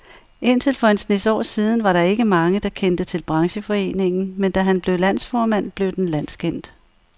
Indtil for en snes år siden var der ikke mange, der kendte til brancheforeningen, men da han blev landsformand, blev den landskendt.